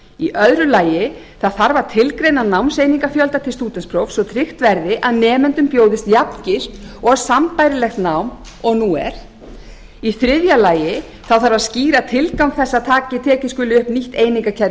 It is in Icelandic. í nýjum lögum annars það þarf að tilgreina námseiningafjölda til stúdentsprófs svo tryggt verði að nemendum bjóðist jafngilt og sambærilegt nám og nú er þriðji skýra þarf tilgang þess að tekið skuli upp nýtt einingakerfi